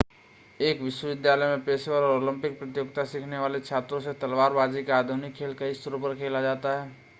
एक विश्वविद्यालय में पेशेवर और ओलंपिक प्रतियोगिता सीखने वाले छात्रों से तलवार बाज़ी का आधुनिक खेल कई स्तरों पर खेला जाता है